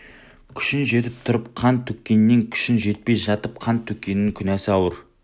күшің жетіп тұрып қан төккеннен күшің жетпей жатып қан төккеннің күнәсі ауыр